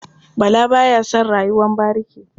Bala ba ya son rayuwar bariki.